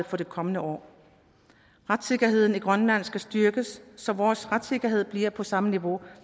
for det kommende år retssikkerheden i grønland skal styrkes så vores retssikkerhed bliver på samme niveau